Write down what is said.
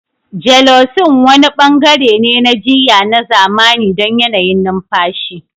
Gelocin wani bangare ne na jiyya na zamani don yanayin numfashi.